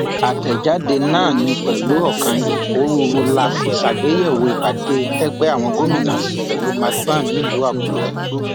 àtẹjáde náà ní pẹlú ọkàn ìpòrúurú la fi ṣàgbéyẹwò ìpàdé tẹgbẹ àwọn gómìnà ṣe pẹlú macban nílùú àkúrẹ